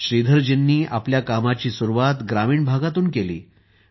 श्रीधरजींनी आपल्या कामाची सुरुवात ग्रामीण भागातून केली आहे